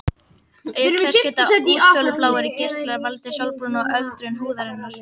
Auk þess geta útfjólubláir geislar valdið sólbruna og öldrun húðarinnar.